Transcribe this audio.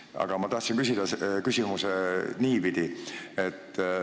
Aga ma tahtsin küsida niipidi.